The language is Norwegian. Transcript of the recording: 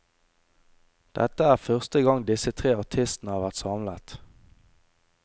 Dette er første gang disse tre artistene har vært samlet.